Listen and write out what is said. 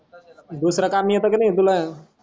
दुसरा काम येत कि नी तुला